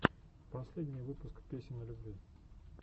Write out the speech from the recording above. последний выпуск песен о любви